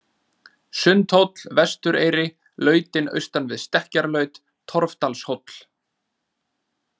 Sundhóll, Vestureyri, Lautin austan við Stekkjarlaut, Torfdalshóll